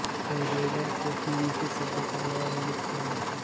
पैरेजो को निम्नलिखित शब्दों द्वारा वर्णित किया जाता है